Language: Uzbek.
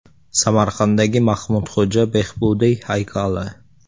Samarqanddagi Mahmudxo‘ja Behbudiy haykali.